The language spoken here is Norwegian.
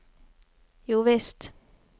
jovisst